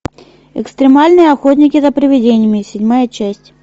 экстремальные охотники за привидениями седьмая часть